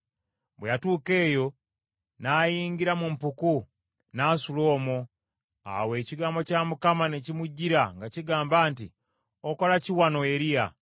Bwe yatuuka eyo, n’ayingira mu mpuku, n’asula omwo. Awo ekigambo kya Mukama ne kimujjira nga kigamba nti, “Okola ki wano, Eriya?”